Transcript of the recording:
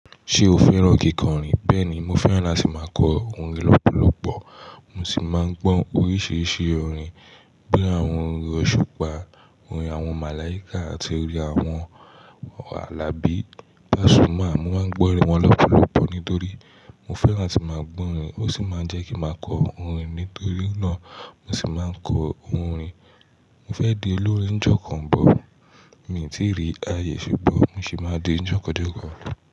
Ṣé o fẹ́ràn kíkọrin? Bẹ́ẹ̀ni, mo fẹ́ràn láti máa kọ orin lọ́pọ̀lọpọ̀. Mo sì máa ń gbọ́ oríṣiríṣi orin bí i àwọn orin òṣùpá, orin àwọn màláíkà àti orin àwọn bí i Pàsúmà. Mo máa ń gbọ́ orin wọn lọ́pọ̀lọpọ̀ nítorí mo fẹ́ràn láti máa gbọ́ orin. Ó sì máa ń jẹ́ kí màá kọ orin. Nítorí náà mo sì máa ń kọ orin. Mo fẹ di olórin n j'ọkan mi tí rí ayé ṣùgbọ́n, mo sì máa di ní ọjọ́ kan n j'ọkan.